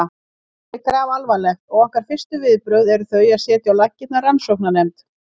Málið er grafalvarlegt og okkar fyrstu viðbrögð eru þau að setja á laggirnar rannsóknarnefnd.